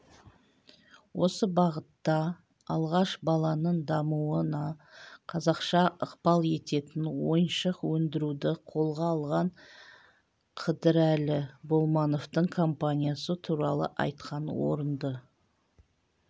осы бағытта алғаш баланың дамуына қазақша ықпал ететін ойыншық өндіруді қолға алған қыдырәлі болмановтың компаниясы туралы айтқан орынды